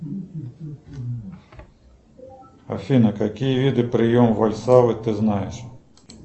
афина какие виды прием вальсальвы ты знаешь